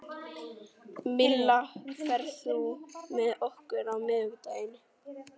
Milla, ferð þú með okkur á miðvikudaginn?